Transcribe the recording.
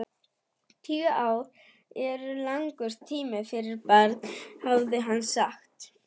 Tíu ár eru langur tími fyrir barn, hafði hann sagt.